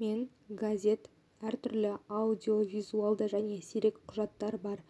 мен газет әртүрлі аудиовизуалды және сирек құжаттар бар